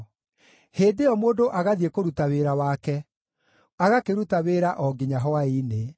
Hĩndĩ ĩyo mũndũ agathiĩ kũruta wĩra wake, agakĩruta wĩra o nginya hwaĩ-inĩ.